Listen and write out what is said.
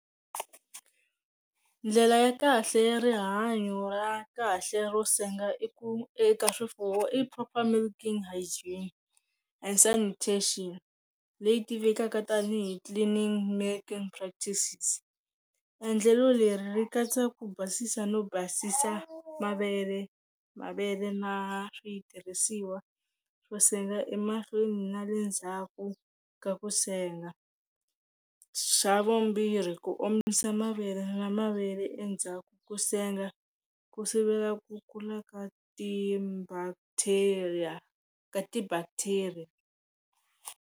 Ndlela ya kahle ya rihanyo ra kahle ro senga i ku eka swifuwo i proper milking hygiene and sanitation leyi tivekaka tanihi cleaning milking practices, endlelo leri ri katsa ku basisa no basisa mavele mavele na switirhisiwa swo senga emahlweni na le ndzhaku ka ku senga, xa vumbirhi ku omisa mavele na mavele endzhaku ko senga ku sivela ku kula ka ti bacteria ka ti bacteria.